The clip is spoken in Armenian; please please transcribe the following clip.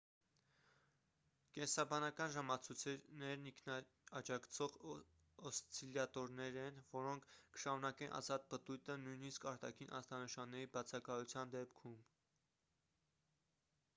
կենսաբանական ժամացույցներն ինքնաջակցող օսցիլյատորներ են որոնք կշարունակեն ազատ պտույտը նույնիսկ արտաքին ազդանշանների բացակայության դեպքում